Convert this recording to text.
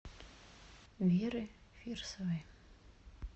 веры фирсовой